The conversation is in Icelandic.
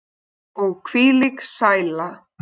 Og hvílík sæla.